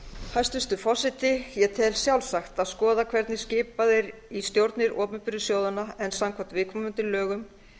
hæstvirtur forseti ég tel sjálfsagt að skoða hvernig skipað er í stjórnir opinberu sjóðanna en samkvæmt viðkomandi lögum